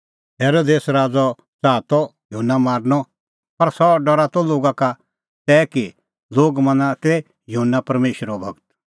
हेरोदेस राज़अ ता च़ाहा त युहन्ना मारनअ पर सह डरा त लोगा का तै कि लोग मना तै युहन्ना परमेशरो गूर